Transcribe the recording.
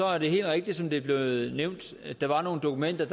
er det helt rigtigt som det er blevet nævnt at der var nogle dokumenter